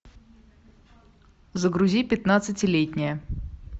загрузи пятнадцатилетняя